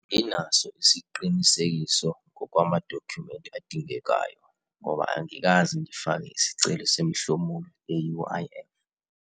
Anginaso isqinisekiso ngokwamadokhumenti adingekayo ngoba angikaze ngifake isicelo semihlomulo e-U_I_F.